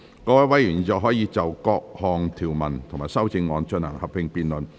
各位委員現在可以就各項條文及修正案，進行合併辯論。